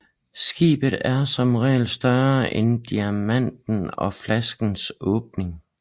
Skibet er som regel større end diameteren på flaskens åbning